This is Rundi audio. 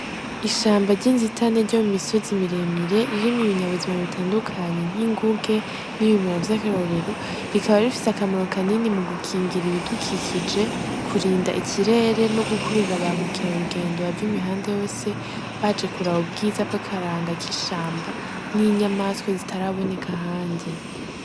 Ishamba ry'insitane ryo mu misozi miremire ririma ibinyabuzima bitandukanyi nk'inguge n'ibimera vy'akarorero rikaba rifise akamaro kanini mu gukingira ibidukikije kurinda ikirere no gukurura bamukira rugendo bava imihande yose baje kurawa ubwiza bw'akaranga k'ishamba n'inyamaswe zitarabonee ga hanje.